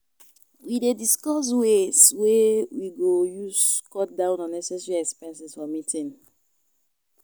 We dey discuss ways wey we go use cut down unnecessary expenses for meeting.